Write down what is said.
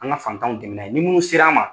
An ka fantanw dɛmɛ n'a ye nin minnu sera an ma.